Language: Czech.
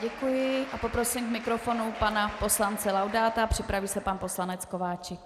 Děkuji a poprosím k mikrofonu pana poslance Laudáta, připraví se pan poslanec Kováčik.